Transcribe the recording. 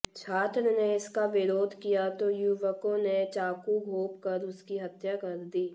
छात्र ने इसका विरोध किया तो युवकों ने चाकू घोंप कर उसकी हत्या कर दी